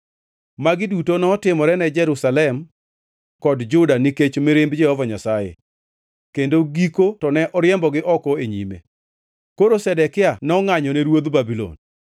Magi duto notimore ne Jerusalem kod Juda nikech mirimb Jehova Nyasaye, kendo giko to ne oriembogi oko e nyime. Koro Zedekia nongʼanyone ruodh Babulon.